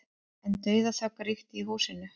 En dauðaþögn ríkti í húsinu.